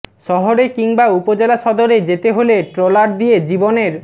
শহরে কিংবা উপজেলা সদরে যেতে হলে ট্রলার দিয়ে জীবনের